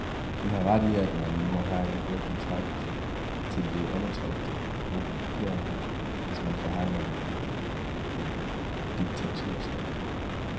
De har ret i, at man må have god kontakt til de undertrykte grupperinger, hvis man forhandler med en diktaturstat.